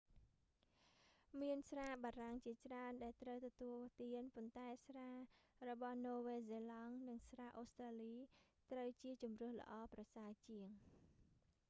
មានស្រាបារាំងជាច្រើនដែលត្រូវទទួលទាន ប៉ុន្តែស្រារបស់នូវែលសេឡង់និងស្រាអូស្ត្រាលី ត្រូវជាជម្រើសល្អប្រសើរជាង